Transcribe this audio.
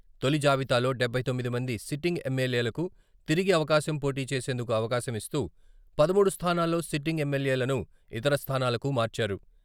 తొలి జాబితాలో డబ్బై తొమ్మిది మంది సిట్టింగ్ ఎమ్.ఎల్.ఏలకు తిరిగి అవకాశం పోటీ చేసేందుకు అవకాశం ఇస్తూ, పదమూడు స్థానాల్లో సిట్టింగ్ ఎమ్.ఎల్.ఏలను ఇతర స్థానాలకు మార్చారు.